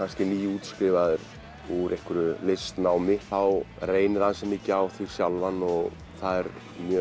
nýútskrifaður úr einhverju listnámi þá reynir mikið á þig sjálfan og það er